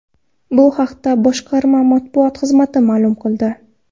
Bu haqda boshqarma matbuot xizmati ma’lum qildi .